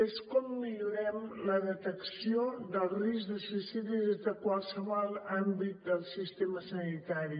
que és com millorem la detecció del risc de suïcidi des de qualsevol àmbit del sistema sanitari